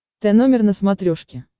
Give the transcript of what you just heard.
тномер на смотрешке